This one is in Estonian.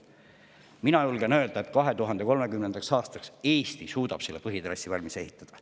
Mina julgen öelda, et 2030. aastaks suudab Eesti põhitrassi valmis ehitada.